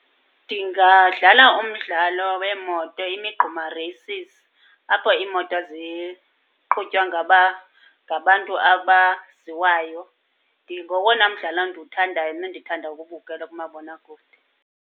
Ndingadlala umdlalo weemoto, imigquma reysisi, apho iimoto ziqhutywa ngabantu abaziwayo. Ngowona mdlalo ndiwuthandayo nendithanda ukuwubukela kumabonakude.